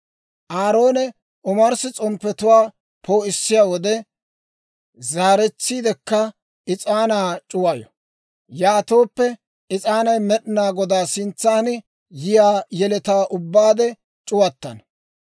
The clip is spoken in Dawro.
Aaroone omarssi s'omppetuwaa poo'issiyaa wode, zaaretsiidekka is'aanaa c'uwayo; yaatooppe, is'aanay Med'inaa Godaa sintsan yiyaa yeletaw ubbaade c'uwattana.